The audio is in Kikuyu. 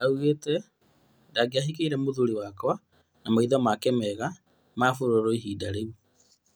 Oigĩte "ndingĩahikirie mũthuri wakwa na maitho make mega ma bururu ihinda rĩu"